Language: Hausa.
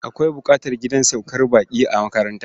Akwai buƙatar gidan saukar baƙi a makaranta.